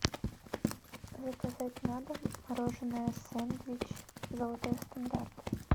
заказать на дом мороженое сэндвич золотой стандарт